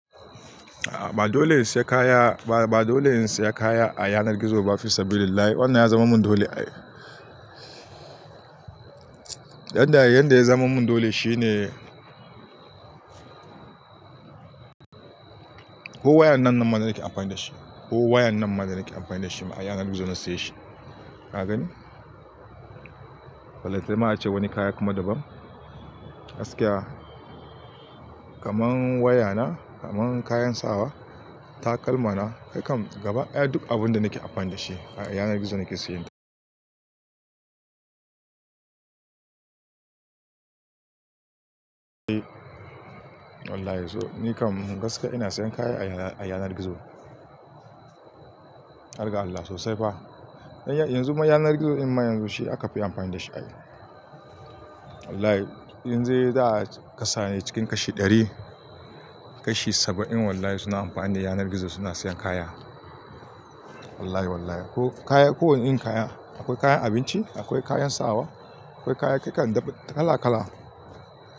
A ba dole siya kaya, ba dole in siya kaya a yanar gizo ba, fisabillahi. Wannan ya zama mun dole ai. Yadda yadda ya zama mun dole shine ko wayan nan ma da nake amfani da shi, ko wayan nan ma da nake amfani da shi ma a yanar gizo na siye shi. Ka gani? Balanta ne ma ace wani kaya kuma daban. Gaskiya kaman waya na, kaman kayan sawa, takalma na, ai kam gaba duk abun da nake amfani da shi a yanar gizo nake siya. Wallahi to ni kam gaskiya ina siyan kaya a yanar gizo. Har ga Allah sosai fa. Yanzu ma yanar gizo in ma yanzu shi aka fi amfani da shi a yau. Wallahi in dai za a kasa ne cikin kashi ɗari, kashi saba'in wallahi suna amfani da yanar gizo suna siyan kaya. Wallahi, wallahi. Ko kaya, ko wane irin kaya, akwai kayan abinci, akwai kayan sawa, akwai kaya kakan kala kala.